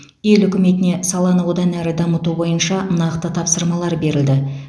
ел үкіметіне саланы одан әрі дамыту бойынша нақты тапсырмалар берілді